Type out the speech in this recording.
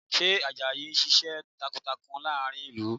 Ṣé Àjàyí ń ṣiṣẹ́ takuntakun láàrin ìlú?